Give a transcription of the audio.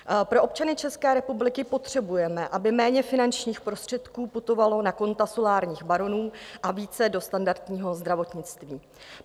Pro občany České republiky potřebujeme, aby méně finančních prostředků putovalo na konta solárních baronů a více do standardního zdravotnictví.